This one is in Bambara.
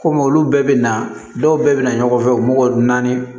Kɔmi olu bɛɛ bɛ na dɔw bɛɛ bɛ na ɲɔgɔn fɛ u mɔgɔ naani